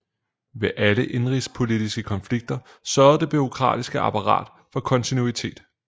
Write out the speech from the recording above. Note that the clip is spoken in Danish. Ved alle indenrigspolitiske konflikter sørgede det bureaukratiske apparat for kontinuitet